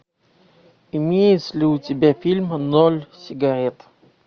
имеется ли у тебя фильм ноль сигарет